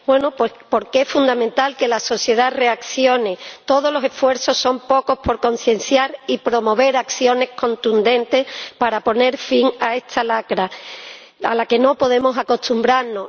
Bueno, pues porque es fundamental que la sociedad reaccione. Todos los esfuerzos son pocos por concienciar y promover acciones contundentes para poner fin a esta lacra, a la que no podemos acostumbrarnos.